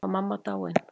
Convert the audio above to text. Var mamma dáin?